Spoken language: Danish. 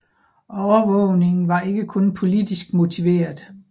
Overvågningen var ikke kun politisk motiveret